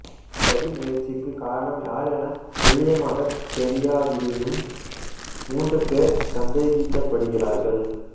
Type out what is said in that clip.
இச்சதி முயற்சிக்கு காரணம் யார் எனத் துல்லியமாகத் தெரியாவிடினும் மூன்று பேர் சந்தேகிக்கப்படுகிறார்கள்